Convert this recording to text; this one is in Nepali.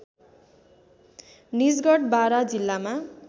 निजगढ बारा जिल्लामा